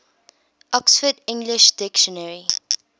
oxford english dictionary